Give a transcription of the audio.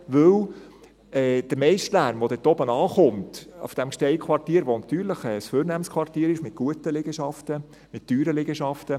Denn der meiste Lärm, der dort oben ankommt, auf diesem Gsteig-Quartier, das natürlich ein vornehmes Quartier ist mit guten Liegenschaften, mit teuren Liegenschaften …